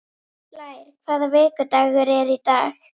Blær, hvaða vikudagur er í dag?